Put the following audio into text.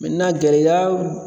gɛlɛya